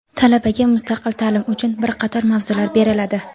Talabaga mustaqil taʼlim uchun bir qator mavzular beriladi.